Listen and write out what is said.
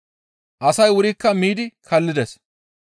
Asay wurikka miidi kallides.